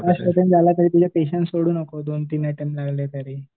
तरी तुझे पेशेन्स सोडू नको दोन तीन अटेम्प्ट लागले तरी.